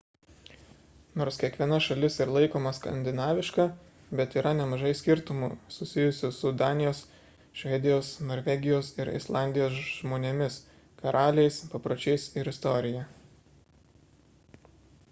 nors kiekviena šalis ir laikoma skandinaviška bet yra nemažai skirtumų susijusių su danijos švedijos norvegijos ir islandijos žmonėmis karaliais papročiais ir istorija